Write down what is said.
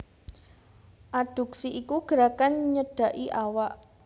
Adduksi iku gerakan nyedhaki awak